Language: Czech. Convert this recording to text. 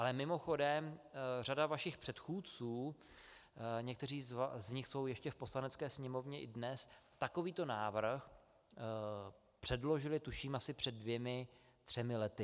Ale mimochodem, řada vašich předchůdců, někteří z nich jsou ještě v Poslanecké sněmovně i dnes, takovýto návrh předložila, tuším, asi před dvěma třemi lety.